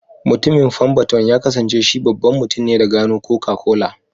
Mutumin femberton ya kasance shi babban mutumne da gano Coca-Cola.